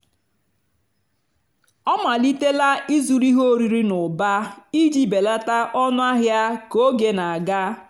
a màlìtélá ị́zụ́rụ́ íhé órírì n'ụ́bà ìjì bèlátá ónú àhịá kà ógè nà-àgá.